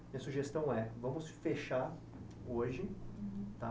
Minha sugestão é, vamos fechar hoje, tá?